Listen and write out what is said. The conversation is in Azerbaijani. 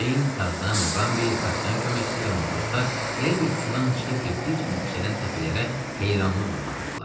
Ceyn, Tarzan, Muqambi, kapitan köməkçisi və matroslar elə bil sudan çıxıb getdikcə yüksələn təpələrə heyranlıqla baxırdılar.